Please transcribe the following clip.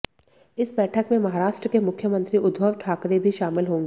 इस बैठक में महाराष्ट्र के मुख्यमंत्री उद्धव ठाकरे भी शामिल होंगे